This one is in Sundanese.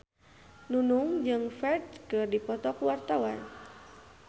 Nunung jeung Ferdge keur dipoto ku wartawan